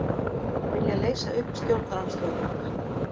Vilja leysa upp stjórnarandstöðuflokka